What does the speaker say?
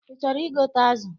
Ị chọrọ igote azụ?